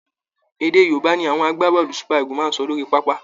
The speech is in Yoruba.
Èdè Yorùba ni àwọn agbábọ́ọ̀lù super Eagles máa ń sọ lórí pápá